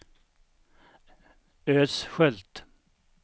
Ödskölt